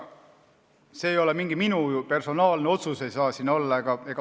See ei ole mingi minu personaalne otsus, see ei saagi seda olla.